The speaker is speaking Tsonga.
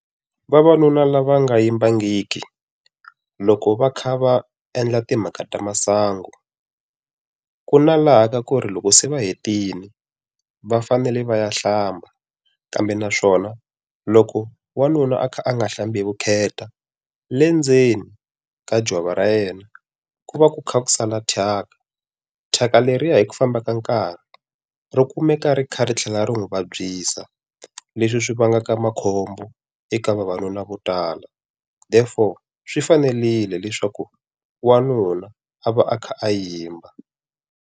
Vavanuna lava nga yimbangiki, loko va kha va endla timhaka ta masangu ku na laha ka ku ri loko se va hetile, va fanele va ya hlamba. Kambe naswona loko wanuna a kha a nga hlambi hi vukheta le ndzeni ka jwava ra yena, ku va ku kha ku sala thyaka. Thyaka leriya hi ku famba ka nkarhi, ri kumeka ri kha ri tlhela ri n'wi vabyisa. Leswi swi vangaka makhombo eka vavanuna vo tala therefore swi fanerile leswaku wanuna a va a kha a yimba.